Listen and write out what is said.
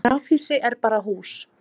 grafhýsi er bara hús